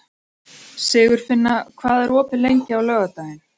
Sigurfinna, hvað er opið lengi á laugardaginn?